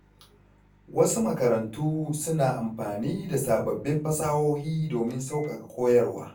Wasu makarantu suna amfani da sababbin fasahohi domin sauƙaƙa koyarwa.